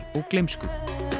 og gleymsku